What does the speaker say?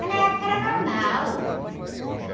Mas na época era normal.